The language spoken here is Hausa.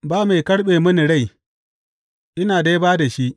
Ba mai karɓe mini rai, ina dai ba da shi.